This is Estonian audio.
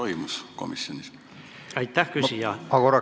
Kas komisjonis toimus selleteemaline arutelu?